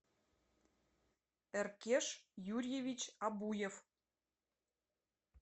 эркеш юрьевич абуев